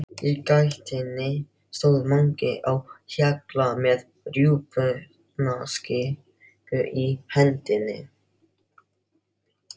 Í gættinni stóð Mangi á Hjalla með rjúpnakippu í hendinni.